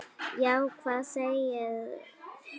Já, hvað segið þér?